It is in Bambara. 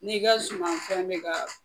N'i ka sumanfɛn bɛ kaa